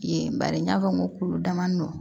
Yen bari n y'a fɔ n ko damadɔ